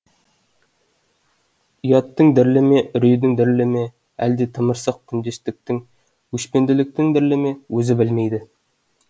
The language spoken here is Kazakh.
ұяттың дірілі ме үрейдің дірілі ме әлде тымырсық күндестіктің өшпенділіктің дірілі ме өзі білмейді